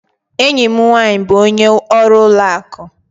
Enyi m nwanyị bụ onye ọrụ ụlọ akụ